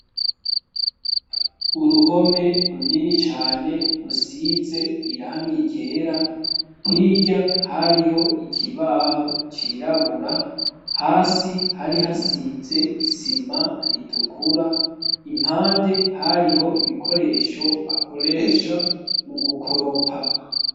Uruhome runini cane rusize irangi ryera, hirya hariho ikibaho cirabura, hasi hari hasize isima ritukura, impande hariho ibikoresho bakoresha mu gukoropa.